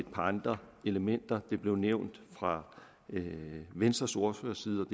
par andre elementer det blev nævnt fra venstres ordførers side